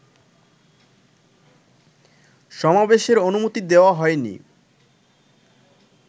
সমাবেশের অনুমতি দেওয়া হয়নি